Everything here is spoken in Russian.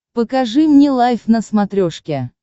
покажи мне лайф на смотрешке